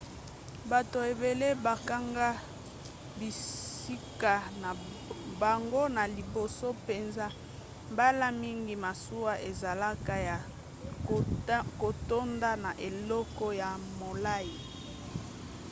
bato ebele bakanga bisika na bango na liboso mpenza mbala mingi masuwa ezalaka ya kotonda na eleko ya molai